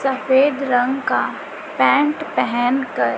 सफेद रंग का पैंट पहेन कर--